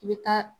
I bɛ taa